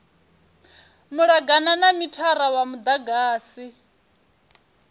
malugana na mithara wa mudagasi